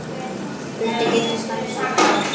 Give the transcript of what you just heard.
Hulda giftist Hannesi Hall.